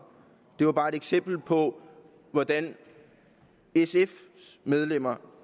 det var bare ét eksempel på hvordan medlemmerne